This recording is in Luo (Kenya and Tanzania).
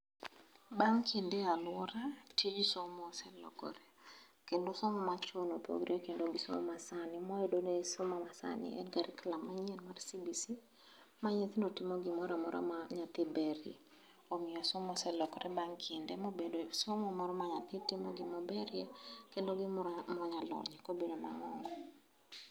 Bang' kinde e alwora, tij somo oselokore. Kendo somo machon opogore gi somo masani, mwayudoni somo masani en carriculum manyien mar CBC, ma nyithindo timo gimoramora ma nyathi berie. Omiyo somo oselokore bang' kinde mobedo somo moro ma nyathi timo gimoberie kendo gimoro monyalonyie kobiro maonge.